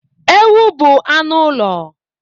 Ewu bụ anụ ụlọ.